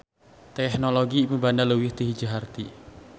Tehnologi mibanda leuwih ti hiji harti.